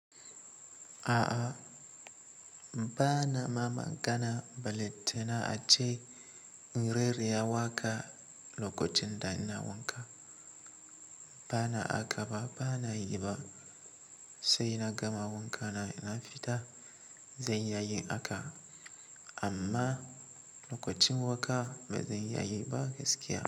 A'a, ba na ma magana ballantana a ace in rera waƙa lokacin da ina wanka. Ba na haka ba, ba na yi ba. Sai na gama wanka na fita zan iya yin haka, amma lokacin wanka bazan iya yi ba gaskiya.